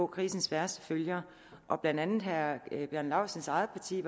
krisens værste følger blandt andet var herre bjarne laustsens eget parti